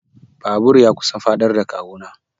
Babur ya kusan faɗar da kawu na.